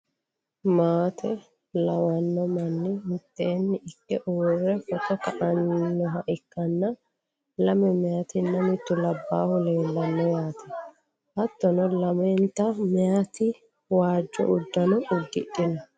maate lawanno manni mitteenni ikke uurre footo kainoha ikkanna, lame meeyaatinna mittu labbaahu leelanno yaate. hattono lamenti meyaati waajjo uddano uddidhino.